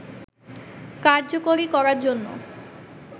কার্যকরী করার জন্য